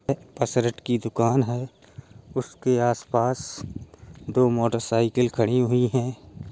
की दुकान है उसके आस पास दो मोटरसाइकिल खड़ी हुईं हैं |